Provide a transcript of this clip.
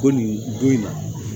Ko nin don in na